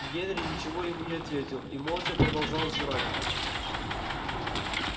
генри ничего ему не ответил и молча продолжал жевать